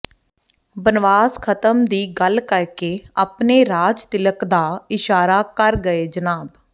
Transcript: ਬਨਵਾਸ ਖਤਮ ਦੀ ਗੱਲ ਕਰਕੇ ਆਪਣੇ ਰਾਜਤਿਲਕ ਦਾ ਇਸ਼ਾਰਾ ਕਰ ਗਏ ਜਨਾਬ